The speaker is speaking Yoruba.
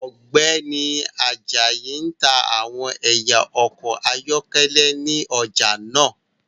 Ọgbẹni Ajayi n ta awọn ẹya ọkọ ayọkẹlẹ ni ọja naa